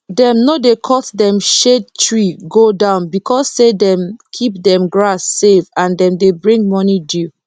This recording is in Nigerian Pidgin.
dem no dey cut dem shade tree go down because say dem keep dem grass safe and dem dey bring morning dew